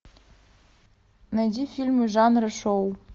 найди фильмы жанра шоу